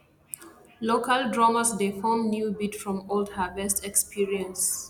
local drummers dey form new beat from old harvest experience